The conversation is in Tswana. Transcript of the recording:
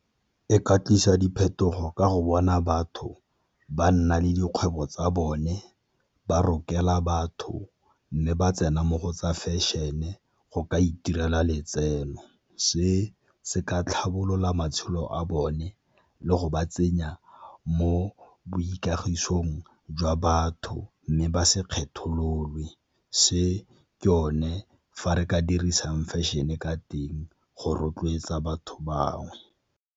E ka tlisa diphetogo ka go bona batho ba nna le dikgwebo tsa bone, ba rokela batho, mme ba tsena mo go tsa fashion-e go ka itirela letseno. Se se ka tlhabolola matshelo a bone le go ba tsenya mo boikagisong jwa batho mme ba se kgethololwe, se ke yone fa re ka dirisang fashion-e ka teng go rotloetsa batho bangwe.